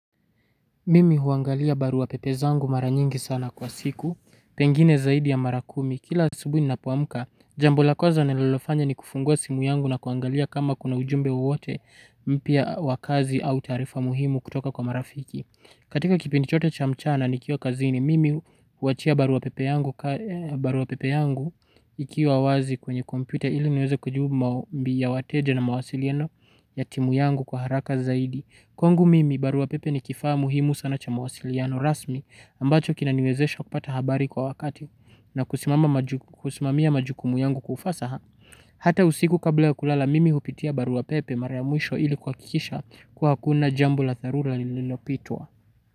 Mimi huangalia barua pepe zangu mara nyingi sana kwa siku, pengine zaidi ya mara kumi. Kila asubuhi ninapoamka, jambo la kwanza ninalofanya ni kufungua simu yangu na kuangalia kama kuna ujumbe wowote mpya wa kazi au taarifa muhimu kutoka kwa marafiki. Katika kipindi chote cha mchana nikiwa kazini, mimi huachia barua pepe yangu ikiwa wazi kwenye kompyuta ili niweze kujibu maombi ya wateja na mawasiliano ya timu yangu kwa haraka zaidi. Kwangu mimi barua pepe ni kifaa muhimu sana cha mawasiliano rasmi ambacho kinaniwezesha kupata habari kwa wakati na kusimamia majukumu yangu kwa ufasaha. Hata usiku kabla ya kulala mimi hupitia barua pepe mara ya mwisho ili kuhakikisha kuwa hakuna jambo la dharura nililopitwa.